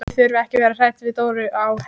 Þið þurfið ekki að vera hrædd við Dóra á Her.